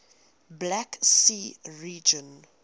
black sea region